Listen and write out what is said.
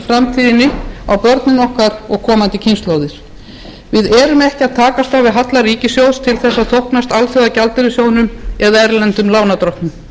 framtíðinni á börnin okkar og komandi kynslóðir við erum ekki að takast á við halla ríkissjóðs til að þóknast alþjóðagjaldeyrissjóðnum eða erlendum lánardrottnum